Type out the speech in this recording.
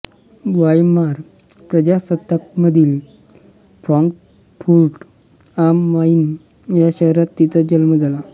Weimar प्रजासत्ताकामधील Frankfurt am Main या शहरात तिचा जन्म झाला